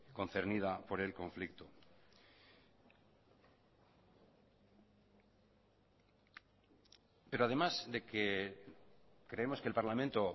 concernida por el conflicto pero además de que creemos que el parlamento